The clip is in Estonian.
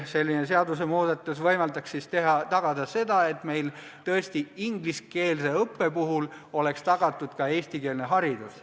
Selline seadusemuudatus võimaldaks saavutada selle, et meil oleks ingliskeelse õppe puhul tõesti tagatud ka eestikeelne haridus.